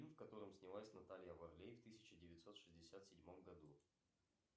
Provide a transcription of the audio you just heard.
фильм в котором снялась наталья варлей в тысяча девятьсот шестьдесят седьмом году